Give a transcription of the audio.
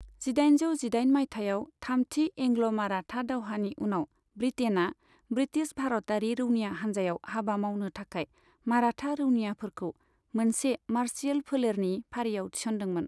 जिदाइनजौ जिदाइन मायथाइयाव थामथि एंग्ल माराठा दावहानि उनाव, ब्रिटेनआ ब्रिटिश भारतारि रौनिया हान्जायाव हाबा मावनो थाखाय माराठा रौनियाफोरखौ मोनसे मार्शियेल फोलेरनि फारियाव थिसन्दोंमोन।